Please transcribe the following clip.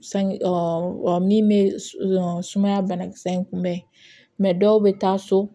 San min bɛ sumaya banakisɛ in kunbɛn dɔw bɛ taa so